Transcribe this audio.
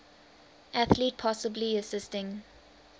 athlete possibly assisting